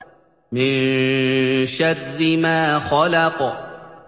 مِن شَرِّ مَا خَلَقَ